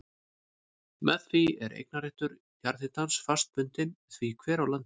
Með því er eignarréttur jarðhitans fast bundinn því hver á landið.